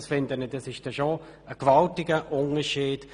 Das ist ein gewaltiger Unterschied.